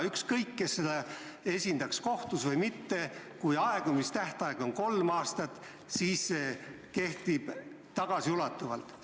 Ükskõik, kes üht poolt kohtus esindaks, kui aegumistähtaeg on kolm aastat, siis see kehtib ka tagasiulatuvalt.